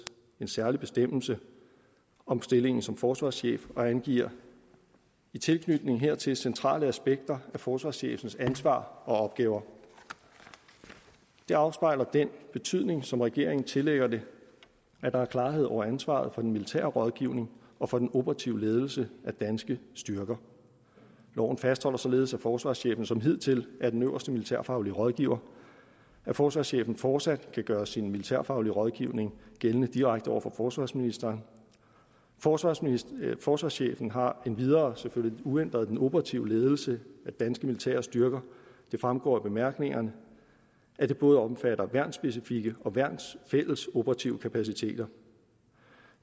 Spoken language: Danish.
en særlig bestemmelse om stillingen som forsvarschef og angiver i tilknytning hertil centrale aspekter af forsvarschefens ansvar og opgaver det afspejler den betydning som regeringen tillægger det at der er klarhed over ansvaret for den militære rådgivning og for den operative ledelse af danske styrker loven fastholder således at forsvarschefen som hidtil er den øverste militærfaglige rådgiver at forsvarschefen fortsat kan gøre sin militærfaglige rådgivning gældende direkte over for forsvarsministeren forsvarsministeren forsvarschefen har endvidere uændret den operative ledelse af danske militære styrker det fremgår af bemærkningerne at det både omfatter værnsspecifikke og værnsfælles operative kapaciteter